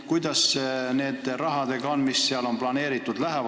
Kuidas on nende summadega, mis selleks on planeeritud?